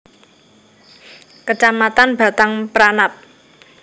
Kecamatan Batang Peranap